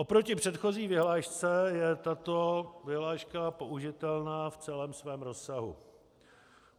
Oproti předchozí vyhlášce je tato vyhláška použitelná v celém svém rozsahu.